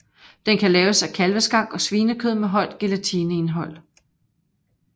Den kan laves af kalveskank og svinekød med højt gelatineindhold